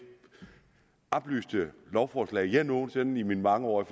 oplyste lovforslag jeg nogen sinde i mine mange år i